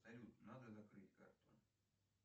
салют надо закрыть карту